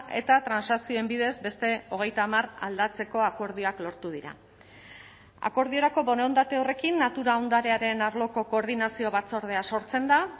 eta transakzioen bidez beste hogeita hamar aldatzeko akordioak lortu dira akordiorako borondate horrekin natura ondarearen arloko koordinazio batzordea sortzen da